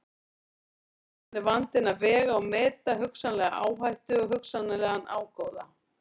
Síðan er vandinn að vega og meta hugsanlega áhættu og hugsanlegan ágóða.